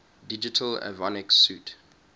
digital avionics suite